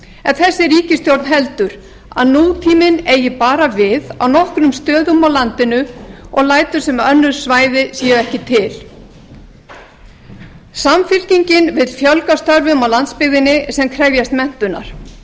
en þessi ríkisstjórn heldur að nútíminn eigi bara við á nokkrum stöðum á landinu og lætur sem önnur svæði séu ekki til samfylkingin vill fjölga störfum á landsbyggðinni sem krefjast menntunar